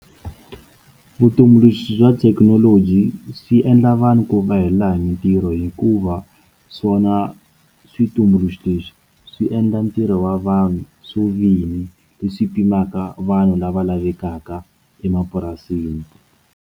Vutumbuluxi bya tithekinoloji swi endla vanhu ku va hi laha hi mitirho hikuva swona switumbuluxi leswi swi endla ntirho wa vanhu swo vini leswi pfunaka vanhu lava lavekaka emapurasini.